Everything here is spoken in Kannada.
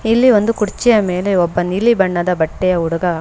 ಇಲ್ಲಿ ಒಂದು ಕೂಡಚಿಯಾ ಮೇಲೆ ಒಬ್ಬ ನೀಲಿ ಬಣ್ಣದ ಬಟ್ಟೆಯ ಹುಡಗ --